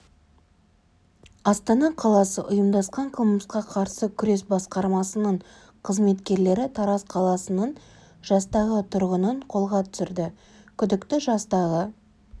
астана қаласы ұйымдасқан қылмысқа қарсы күрес басқармасының қызметкерлері тараз қаласының жастағы тұрғынын қолға түсірді күдікті жастағы